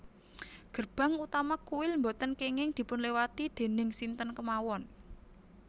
Gerbang utama kuil boten kenging dipunliwati déning sinten kemawon